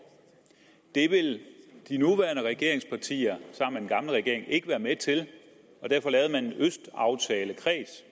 det ville de nuværende regeringspartier sammen gamle regering ikke være med til og derfor lavede man en østaftalekreds